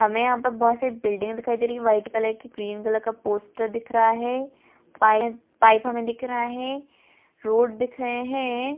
हमें यहाँ पे बहोत सारी बिल्डिंग दिखाई दे रही है वाइट कलर की ग्रीन कलर का पोस्टर दिख रहा है पाई-पाईप हमें दिख रहा है रोड दिख रहे है।